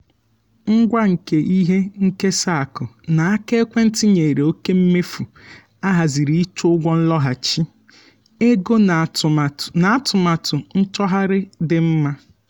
ngwa nke ihe nkesa akụ n’aka ekwentị nyere oke mmefu ahaziri iche ụgwọ nloghachi ego na atụmatụ nchọgharị dị mma.